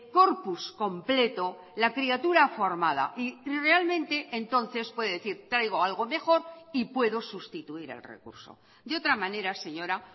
corpus completo la criatura formada y realmente entonces puede decir traigo algo mejor y puedo sustituir el recurso de otra manera señora